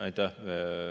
Aitäh!